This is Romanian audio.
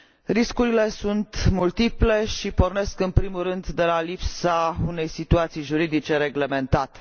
Riscurile sunt multiple și pornesc în primul rând de la lipsa unei situații juridice reglementate.